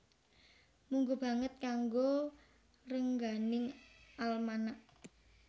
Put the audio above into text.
Mungguh banget kanggo rengganing almanak